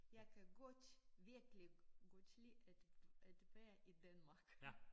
Jeg kan godt virkelig godt lide at at være i Danmark